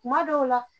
Kuma dɔw la